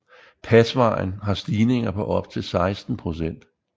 Pasvejen har stigninger på op til 16 procent